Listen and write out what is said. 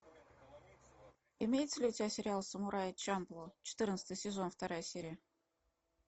имеется ли у тебя сериал самурай чамплу четырнадцатый сезон вторая серия